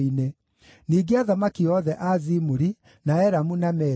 ningĩ athamaki othe a Zimuri, na Elamu na Media;